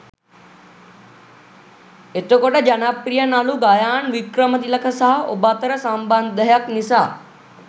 එතකොට ජනප්‍රිය නළු ගයාන් වික්‍රමතිලක සහ ඔබ අතර සම්බන්ධයක් නිසා